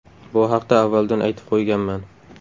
Bu haqda avvaldan aytib qo‘yganman.